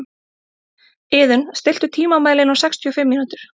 Iðunn, stilltu tímamælinn á sextíu og fimm mínútur.